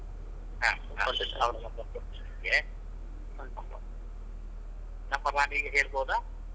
ಹಾ ಹಾ ಅವ್ರ number ಕೊಡ್ತಿನ್ ನಿಮ್ಗೆ contact ಮಾಡ್ಬೋದು ರಪ್ಪ ಮಾಡಿ ಈಗ ಹೇಳ್ಬೋದಾ?